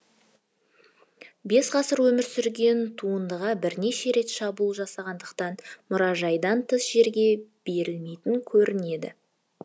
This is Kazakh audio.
бес ғасыр өмір сүрген туындыға бірнеше рет шабуыл жасалғандықтан мұражайдан тыс жерге берілмейтін көрінеді